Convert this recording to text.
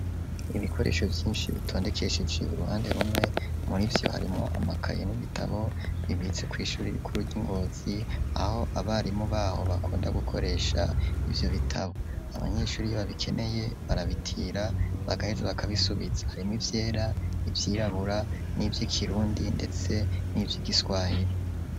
Ibikoresho vyinshi bitondekesheje uruhande rumwe, murivyo harimwo amakaye n'ibitabo bibitse kw'ishure rikuru ry'i Ngozi aho abarimu baho bakunda gukoresha ivyo bitabo. Abanyeshure iyo babikeneye barabutira bagaheza bakabisubiza. Harimwo ivyera, ivyirabura, nivy'ikirundi ndetse nivy'igiswahili.